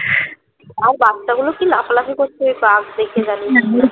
আর বাচ্চাগুলো কি লাফালাফি করছে বাঘ দেখে জানিস